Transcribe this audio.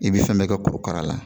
I bɛ fɛn bɛ kɛ korokara la.